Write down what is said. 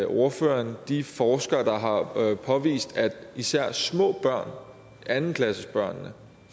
ordføreren de forskere der har påvist at især små børn anden klassebørnene